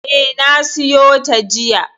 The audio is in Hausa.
E, na siyo ta jiya.